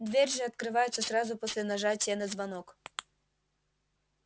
дверь же открывается сразу после нажатия на звонок